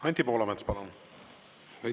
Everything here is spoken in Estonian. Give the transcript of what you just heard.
Anti Poolamets, palun!